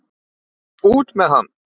Og út með hann!